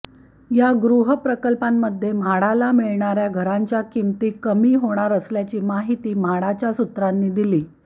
या गृहप्रकल्पांमध्ये म्हाडाला मिळणार्या घरांच्या किंमती कमी होणार असल्याची माहिती म्हाडाच्या सूत्रांनी दिली